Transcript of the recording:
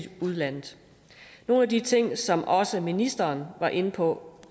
udlandet nogle af de ting som også ministeren var inde på